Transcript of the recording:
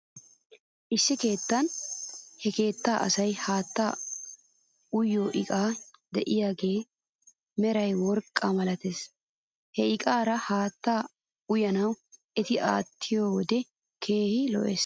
Issi keettan he keettaa asay haattaa uyiyoo iqay de'iyaagaassi meray worqqa malates. He iqaara haattaa uyana eti aattiyoo wodiya keehi lo'es.